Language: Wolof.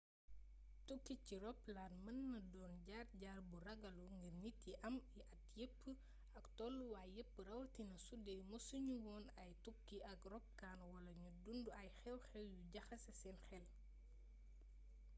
tukki ci roplaan mën naa doon jaar-jaar bu ragallu ngir nit yi am at yépp ak tooluwaay yépp rawatina sudee mësu ñu woon a tukki ak ropkaan wala ñu dundu ay xew-xew yu jaxase seen xel